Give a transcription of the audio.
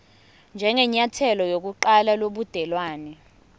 njengenyathelo lokuqala lobudelwane